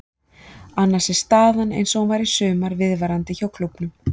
Annars er staðan eins og hún var í sumar viðvarandi hjá klúbbnum.